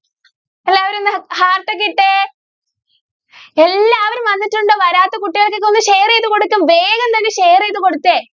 എല്ലാവരും ഒന്ന് heart ഒക്കെ ഇട്ടെ. എല്ലാവരും വന്നിട്ടുണ്ട്. വരാത്ത കുട്ടികൾക്കൊക്കെ ഒന്നു share ചെയ്ത് കൊടുക്കൂ, വേഗം തന്നെ share ചെയ്ത് കൊടുത്തേ.